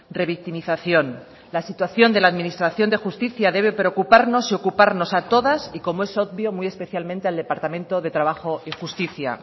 revictimización la situación de la administración de justicia debe preocuparnos y ocuparnos a todas y como es obvio muy especialmente al departamento de trabajo y justicia